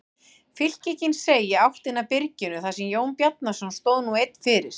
Fylkingin seig í áttina að byrginu þar sem Jón Bjarnason stóð nú einn fyrir.